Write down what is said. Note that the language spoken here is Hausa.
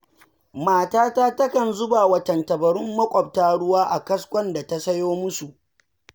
Matata takan zubawa tantabarun maƙwabta ruwa a kaskon da ta sayo musu.